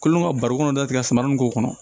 Kolo ka barikon dɔ tigɛ suman nin k'o kɔnɔ